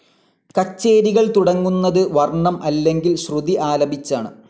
കച്ചേരികൾ തുടങ്ങുന്നത് വർണം അല്ലെങ്കിൽ ശ്രുതി ആലപിച്ചാണ്.